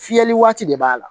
Fiyɛli waati de b'a la